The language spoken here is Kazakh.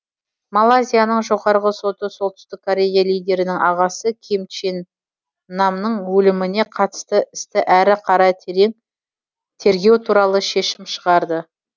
малайзияның жоғарғы соты солтүстік корея лидерінің ағасы ким чен намның өліміне қатысты істі әрі қарай терең тергеу туралы шешім шығарды